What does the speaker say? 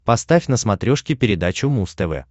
поставь на смотрешке передачу муз тв